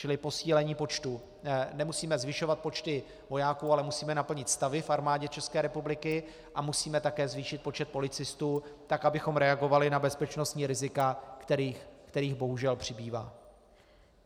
Čili posílení počtu, nemusíme zvyšovat počty vojáků, ale musíme naplnit stavy v Armádě České republiky a musíme také zvýšit počet policistů tak, abychom reagovali na bezpečnostní rizika, kterých bohužel přibývá.